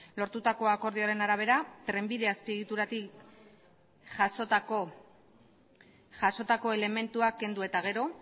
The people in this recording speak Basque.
lortutako akordioaren arabera trenbide azpiegituratik jasotako jasotako elementuak kendu eta gero